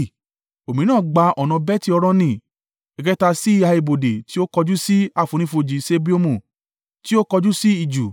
òmíràn gba ọ̀nà Beti-Horoni, ẹ̀kẹta sí ìhà ibodè tí ó kọjú sí àfonífojì Seboimu tí ó kọjú sí ijù.